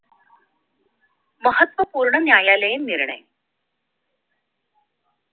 महत्वपूर्ण न्यायालये निर्णय